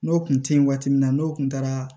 N'o kun te yen waati min na n'o kun taara